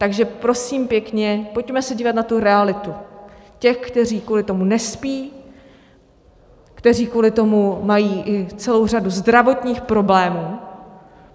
Takže prosím pěkně, pojďme se dívat na tu realitu těch, kteří kvůli tomu nespí, kteří kvůli tomu mají i celou řadu zdravotních problémů.